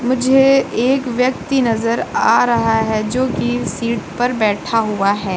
मुझे एक व्यक्ति नजर आ रहा है जो कि सीट पर बैठा हुआ है।